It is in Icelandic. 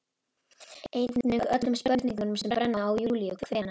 Einnig öllum spurningunum sem brenna á Júlíu: Hvenær